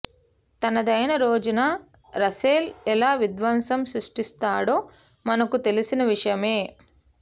తనదైన రోజున రసెల్ ఎలా విధ్వంసం సృష్టిస్తాడో మనకు తెలిసిన విషయమే